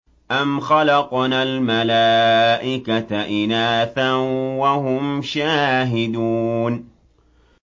أَمْ خَلَقْنَا الْمَلَائِكَةَ إِنَاثًا وَهُمْ شَاهِدُونَ